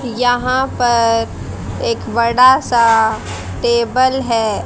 यहां पर एक बड़ा सा टेबल है।